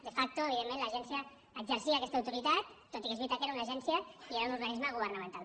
de facto evidentment l’agència exercia aquesta autoritat tot i que és veritat que era una agència i era un organisme governamental